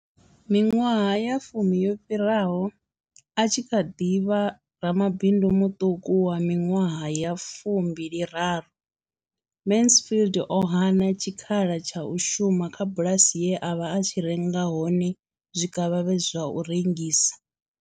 Miṅwaha ya fumi yo fhiraho, a tshi kha ḓi vha ramabindu muṱuku wa miṅwaha ya fu mbili raru, Mansfield o hana tshikhala tsha u shuma kha bulasi ye a vha a tshi renga hone zwikavhavhe zwa u rengisa.